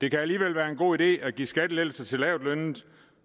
det kan alligevel være en god idé at give skattelettelser til lavtlønnede